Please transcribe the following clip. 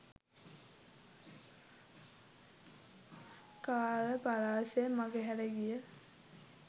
කාල පරාස මඟහැර ගිය